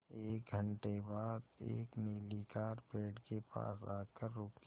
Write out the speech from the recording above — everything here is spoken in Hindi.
एक घण्टे बाद एक नीली कार पेड़ के पास आकर रुकी